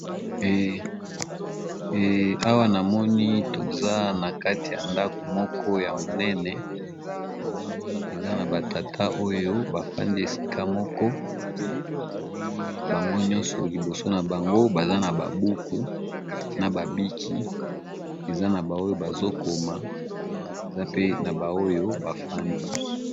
Awa namoni toza nakati ya ndako moko ya munene batata bafandi esika moko Namoni liboso na bango baza na buku na bic eza na ba oyo bazokoma ba susu bafandi.